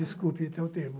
Desculpe, até o termo.